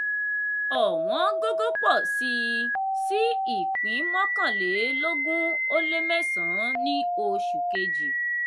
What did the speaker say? ọ̀wọ́n gógó pọ̀ síi sí ipín mọ́kànlélógún o lé mẹ́san ní oṣù kejì.